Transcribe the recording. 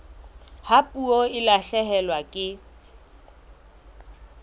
ha puo e lahlehelwa ke